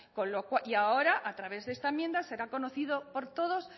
y ahora a través de esta enmienda será conocido por todos